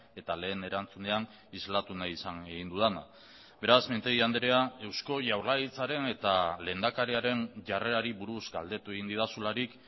eta lehen erantzunean islatu nahi izan egin dudana beraz mintegi andrea eusko jaurlaritzaren eta lehendakariaren jarrerari buruz galdetu egin didazularik